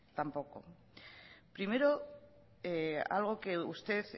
tampoco primero algo que usted